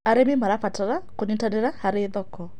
Arĩmĩ marabatara kũnyĩtanĩra harĩ thoko